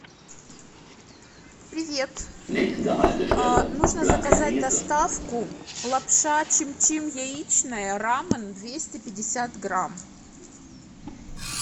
привет а нужно заказать доставку лапша чим чим яичная рамен двести пятьдесят грамм